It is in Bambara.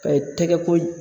Ka i tɛgɛ ko